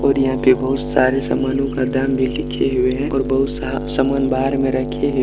और यहां पे बहुत सारे सामानों का दाम भी लिखे हुए हैं और बहुत सा-सामान बाहर में रखे हुए है।